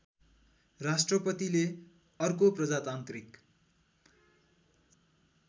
राष्ट्रपतिले अर्को प्रजातान्त्रिक